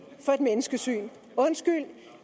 for et menneskesyn undskyld